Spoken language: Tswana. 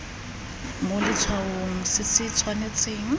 mo letshwaong se se tshwanetseng